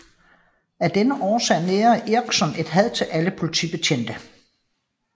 Af denne årsag nærer Erikson et had til alle politibetjente